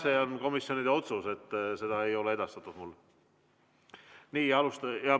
See on komisjonide otsus ja selle põhjust ei ole mulle edastatud.